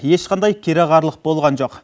ешқандай кереғарлық болған жоқ